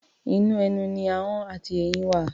Inú ẹnu ni ahọ́n àti eyín wà.